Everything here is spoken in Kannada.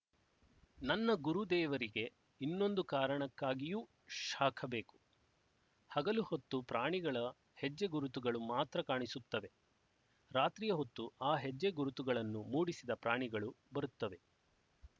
ನನ್ನ ಗುರುದೇವರಿಗೆ ಇನ್ನೊಂದು ಕಾರಣಕ್ಕಾಗಿಯೂ ಶಾಖ ಬೇಕು ಹಗಲು ಹೊತ್ತು ಪ್ರಾಣಿಗಳ ಹೆಜ್ಜೆಗುರುತುಗಳು ಮಾತ್ರ ಕಾಣಿಸುತ್ತವೆ ರಾತ್ರಿಯ ಹೊತ್ತು ಆ ಹೆಜ್ಜೆ ಗುರುತುಗಳನ್ನು ಮೂಡಿಸಿದ ಪ್ರಾಣಿಗಳು ಬರುತ್ತವೆ